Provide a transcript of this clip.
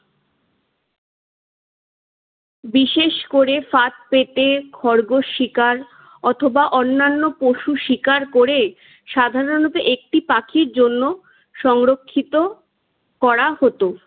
বিশেষ করে ফাঁদ পেতে খরগোশ শিকার অথবা অন্যান্য পশু শিকার করে সাধরণত একটি পাখির জন্য সংরক্ষিত করা হতো।